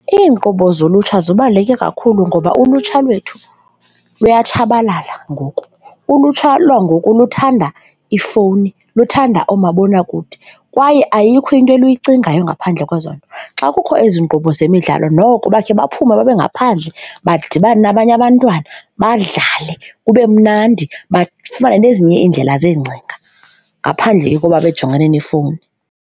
Iinkqubo zolutsha zibaluleke kakhulu ngoba ulutsha lethu luya tshabalala ngoku, ulutsha lwangoku luthanda iifowuni, luthanda oomabonakude kwaye ayikho into eli yicingayo ngaphandle kwezo nto. Xa kukho ezi nkqubo zemidlalo noko bakhe baphume babe ngaphandle badibane nabanye abantwana, badlale kube mnandi, bafumane nezinye iindlela zeengcinga ngaphandle koba bejongane neefowuni.